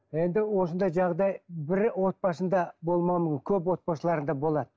енді осындай жағдай бір отбасында көп отбасыларда болады